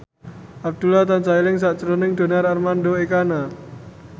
Abdullah tansah eling sakjroning Donar Armando Ekana